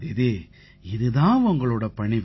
தீதி இது தான் உங்களோட பணிவு